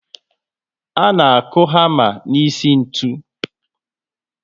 A na aku hama n'isi ntụ